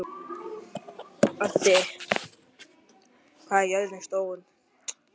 Addi, hvað er jörðin stór?